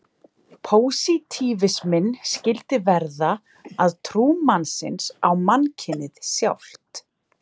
Pósitífisminn skyldi verða að trú mannsins á mannkynið sjálft.